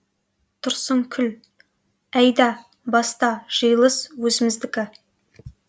тұрсынкүл әйда баста жиылыс өзіміздікі